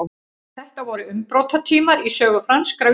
þetta voru umbrotatímar í sögu franskra vísinda